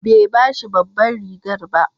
Bai ba shi babbar rigar ba.